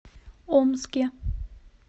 омске